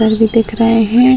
तार भी दिख रहे हैं ।